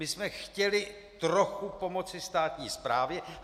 My jsme chtěli trochu pomoci státní správě.